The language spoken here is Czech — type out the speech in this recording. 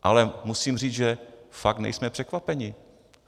Ale musím říct, že fakt nejsme překvapení.